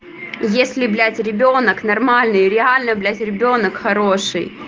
если блять ребёнок нормальный реально блять ребёнок хороший